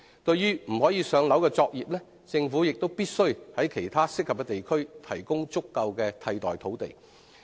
對於不可"上樓"的作業，政府必須在其他適合的地區提供足夠的替代土地。